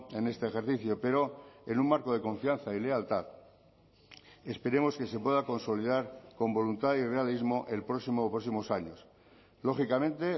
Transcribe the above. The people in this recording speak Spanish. en este ejercicio pero en un marco de confianza y lealtad esperemos que se pueda consolidar con voluntad y realismo el próximo o próximos años lógicamente